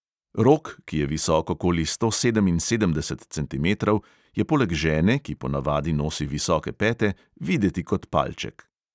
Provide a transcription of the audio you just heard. Rok, ki je visok okoli sto sedeminsedemdeset centimetrov, je poleg žene, ki po navadi nosi visoke pete, videti kot palček.